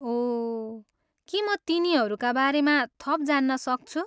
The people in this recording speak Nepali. ओह, के म तिनीहरूका बारेमा थप जान्न सक्छु?